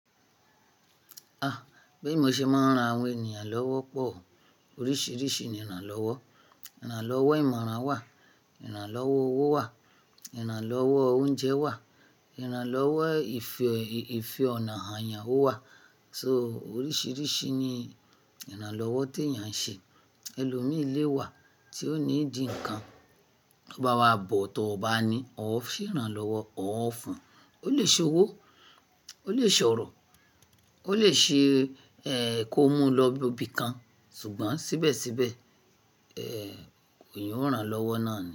Ah! Bí mo ṣe máa ń ran àwọn ènìyàn lọ́wọ́ pọ̀. Oríṣìíríṣìí ni ìrànlọ́wọ́. Ìrànlọ́wọ́ ìmọ̀ràn wà, ìrànlọ́wọ́ owó wà, ìrànlọ́wọ́ oúnjẹ wà, ìrànlọ́wọ́ ìfẹ-ìfẹ́ ọ̀nà hàn èèyàn wà. So oríṣìíríṣìí ni ìrànlọ́wọ́ tí èèyàn ṣe. Ẹlòmíìlé wà tí ó ní di ǹkan, bá wá bọ̀ tó bá ní ó fi ń rànlọ́wọ́, ó ń fún. Ó lè ṣe owó, ó lè ṣòro, ó lè ṣe ẹ kó mú un lọ ibi kan ṣùgbọ́n síbẹ̀síbẹ̀ ẹ òun yóò rànlọ́wọ́ náà ni.